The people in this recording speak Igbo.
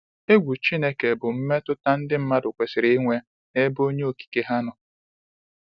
Egwu Chineke bụ mmetụta ndị mmadụ kwesịrị inwe n’ebe onye okike ha nọ.